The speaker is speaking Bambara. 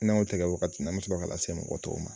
tɛ kɛ wagati min an me sɔrɔ ka lase mɔgɔ tɔw ma.